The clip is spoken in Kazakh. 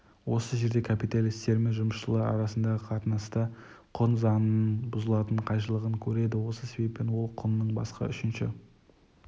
осы жерде капиталистермен жұмысшылар арасындағы қатынаста құн заңының бұзылатын қайшылығын көреді осы себептен ол құнның басқа үшінші